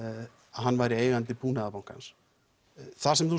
hann væri eigandi Búnaðarbankans það sem þú